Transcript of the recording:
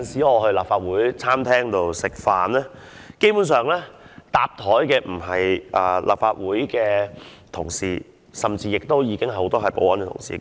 我到立法會餐廳吃飯，很多時候碰到的不是立法會的議員同事，而是保安同事。